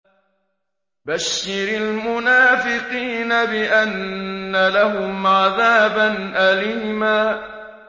بَشِّرِ الْمُنَافِقِينَ بِأَنَّ لَهُمْ عَذَابًا أَلِيمًا